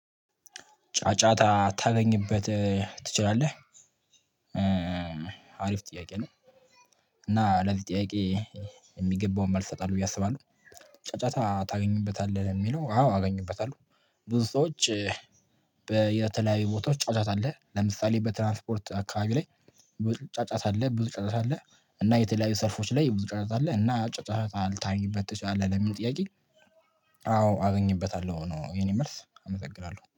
ጫጫታ ታገኝበት ትችላለህ አሪፍ ጥያቄ ነው። እና ለዚህ ጥያቄ የሚገባውን መልስ እሰጣለሁ ብዬ አስባለሁ። ጫጫታ ታገኙበታለህ የሚለው አዎ አገኝበታለሁ። ብዙ ሰዎች። የተለያዩ ቦታዎች ጫጫታ አለ ለምሳሌ በትራንስፖርት አካባቢ ላይ። ብዙ ጫጫት አለ ብዙ ጫጫት አለ። እና የተለያዩ ሰርፎች ላይ ብዙ ጫጫት አለ እና ጫጫት ልታገኝበት ትችላለህ? ለምን ጥያቄ? አዎ አገኝበታለሁ ነው የኔ መልስ አመሰግናለሁ